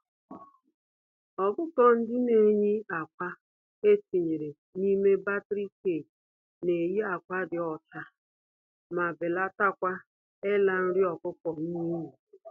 Ọkụkọ-ndị-neyi-ákwà etinyere n'ime battery cage, neyi ákwà dị ọcha, ma belatakwa ịla nri ọkụkọ n'iyi.